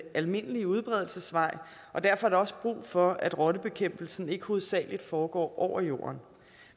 almindelige udbredelsesvej og derfor er der også brug for at rottebekæmpelsen ikke hovedsagelig foregår over jorden